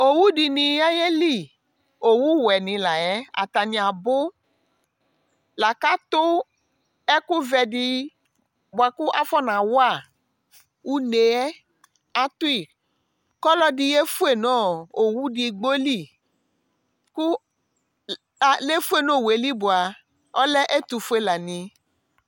owu di ni ya yeli owu wɛ ni la yɛ atani abò la k'ato ɛkò vɛ di boa kò afɔna wa une yɛ ato yi kò ɔlò ɛdi ye fue no owu edigbo li kò le fue n'owu yɛ li boa ɔlɛ ɛtufue la ni